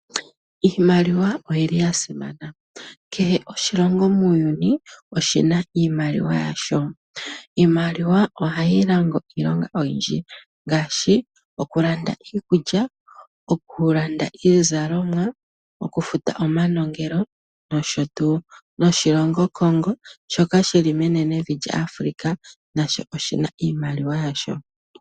Iimaliwa oyili ya simana. Kehe oshilongo muuyuni, oshina iimaliwa yasho. Iimaliwa ohayi longo iilonga oyindji ngaashi okulanda iikulya, okulanda iizalomwa, okufuta omanongelo, nosho tuu. Noshilongo Congo, shoka shili menenevi Africa, nasho oshina iimaliwa yasho.